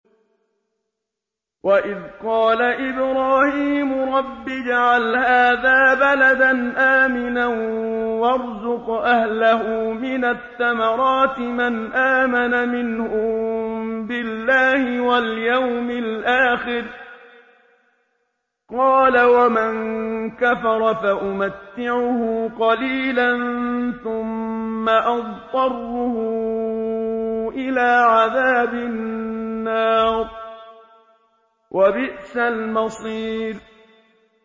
وَإِذْ قَالَ إِبْرَاهِيمُ رَبِّ اجْعَلْ هَٰذَا بَلَدًا آمِنًا وَارْزُقْ أَهْلَهُ مِنَ الثَّمَرَاتِ مَنْ آمَنَ مِنْهُم بِاللَّهِ وَالْيَوْمِ الْآخِرِ ۖ قَالَ وَمَن كَفَرَ فَأُمَتِّعُهُ قَلِيلًا ثُمَّ أَضْطَرُّهُ إِلَىٰ عَذَابِ النَّارِ ۖ وَبِئْسَ الْمَصِيرُ